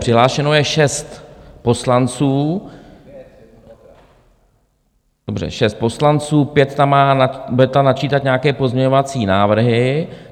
Přihlášeno je šest poslanců, dobře, šest poslanců, pět tam bude načítat nějaké pozměňovací návrhy.